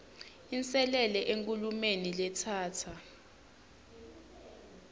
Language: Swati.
inselele enkhulumeni letsatsa